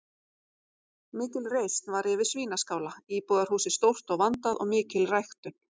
Mikil reisn var yfir Svínaskála, íbúðarhúsið stórt og vandað og mikil ræktun.